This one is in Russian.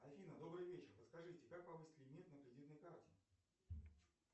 афина добрый вечер подскажите как повысить лимит на кредитной карте